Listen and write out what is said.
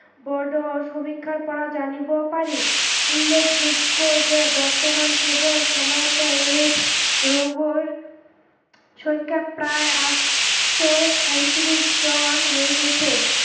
জানিব পাৰি, উল্লেখযোগ্য যে বৰ্তমান কেৱল সময়তে AIDS ৰোগৰ সংখ্যা প্ৰায় আঠশ হৈ গৈছে।